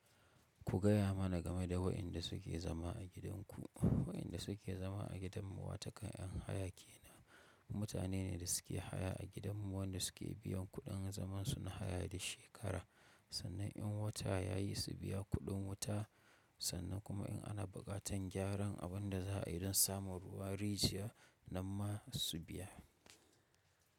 Ku gaya mana game da wayanda suke zama a gidanku. Wayanda suke zama a gidan mu wato ƙan yan haya kenan. Mutane ne da suke haya a gidan mu wanda suke biyan kuɗin zaman su na haya duk shekara. Sannan in wata ya yi su biya kuɗin wuta, sannan kuma in ana buƙatan gyaran abin da za a yi don samun ruwa, rijiya, nan ma su biya.